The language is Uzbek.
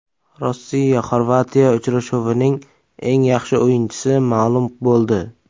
RossiyaXorvatiya uchrashuvining eng yaxshi o‘yinchisi ma’lum bo‘ldi.